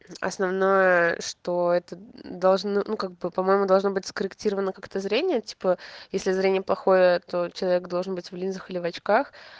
основное что это должно ну как бы по-моему должно быть скорректировано как-то зрение типа если зрение плохое то человек должен быть в линзах или в очках